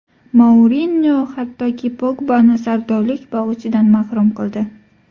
Mourinyo hattoki Pogbani sardorlik bog‘ichidan mahrum qildi.